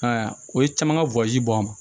I m'a ye o ye caman ka bɔ a ma